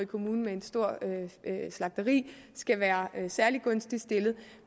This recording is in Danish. kommune med et stort slagteri skal være særlig gunstigt stillet